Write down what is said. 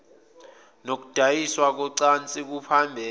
nokudayiswa kocansi kuphambene